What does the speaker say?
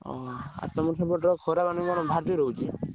ଆଉ ତମ ସେପଟେ ଖରା ଗରମ ଭାରି ଜୋରେ ହଉଛି?